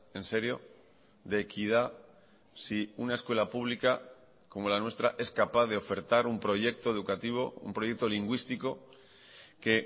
en serio de equidad si una escuela pública como la nuestra es capaz de ofertar un proyecto educativo un proyecto lingüístico que